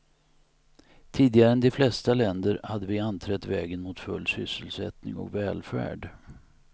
Tidigare än de flesta länder hade vi anträtt vägen mot full sysselsättning och välfärd.